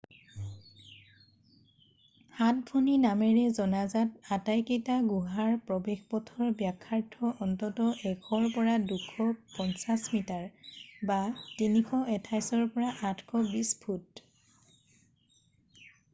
সাত ভনী” নামেৰে জনাজাত আটাইকেইটা গুহাৰ প্ৰৱেশপথৰ ব্যাসাৰ্ধ অন্ততঃ ১০০ ৰ পৰা ২৫০ মিটাৰ ৩২৮ৰ পৰা ৮২০ ফুট।